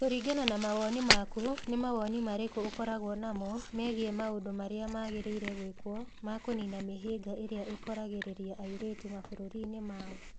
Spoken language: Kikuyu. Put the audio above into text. Kũringana na mawoni maku, nĩ mawoni marĩkũ ũkoragwo namo megiĩ maũndũ marĩa magĩrĩire gwĩkwo ma kũniina mĩhĩnga ĩrĩa ĩkoragĩrĩria airĩtu mabũrũri-inĩ mao?